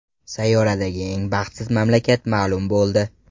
Sayyoradagi eng baxtsiz mamlakat ma’lum bo‘ldi.